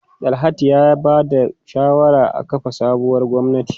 Dalhatu ya ba da shawarar a kafa sabuwar gwamnati.